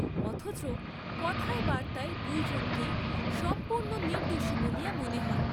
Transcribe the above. অথচ কথায় বার্ত্তায় দুইজনকেই সম্পূর্ণ নির্দ্দোষী বলিয়া মনে হয়।